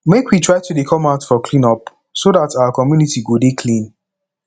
make we try to dey come out for clean up so dat our community go dey clean